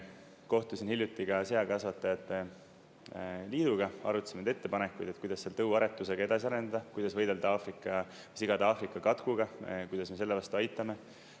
Kohtusin hiljuti ka seakasvatajate liiduga, arutasime neid ettepanekuid, et kuidas seal tõuaretusega edasi arendada, kuidas võidelda sigade Aafrika katkuga, kuidas me selle vastu aitame.